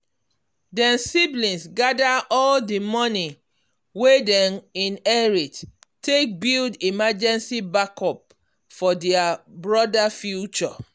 dem siblings gather all the money wey dem inherit take build emergency backup for their broda future.